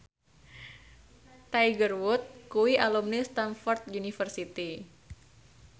Tiger Wood kuwi alumni Stamford University